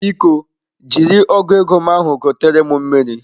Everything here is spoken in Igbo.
Biko jiri ọgu ego m ahụ gotere m mmiri.